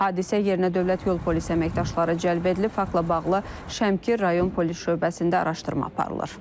Hadisə yerinə Dövlət Yol Polisi əməkdaşları cəlb edilib, faktla bağlı Şəmkir rayon Polis Şöbəsində araşdırma aparılır.